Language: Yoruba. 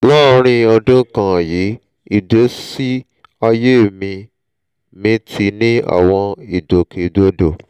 láàárín ọdún kan yìí ìgbésí ayé mi mi ti ní àwọn ìgbòkè gbodò